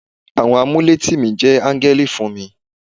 Àwọn amuletìmí jẹ́ áńgẹ́lì fún mi.